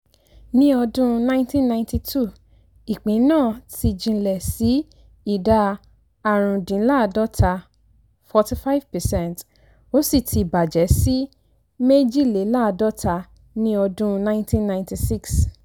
ní ọdún nineteen ninety two ìpín náà ti jinlẹ̀ sí ìdá árùndínláàádọ́ta ( forty five percent)ó sì ti bàjẹ́ sí méjìléláàádọ́ta ní ọdún nineteen ninety six.